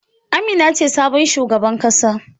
Amina ce sabon shugaban kasa.